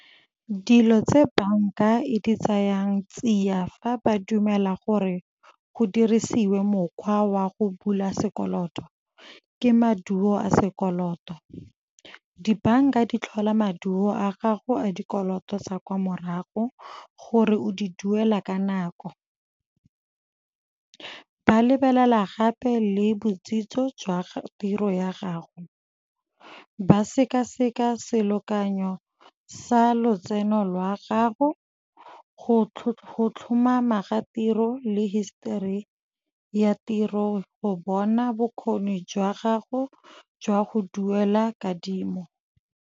Dilo tse banka e di tseyang tsia fa ba dumela gore go dirisiwe mokgwa wa go bula sekoloto ke maduo a sekoloto. Dibanka di tlhola maduo a gago a dikoloto tsa kwa morago gore o di duela ka nako. Ba lebelela gape le botsitso jwa tiro ya gago, ba sekaseka selekanyo sa lotseno lwa gago, go tlhomama ga tiro le hisetori ya tiro go bona bokgoni jwa gago jwa go duela kadimo.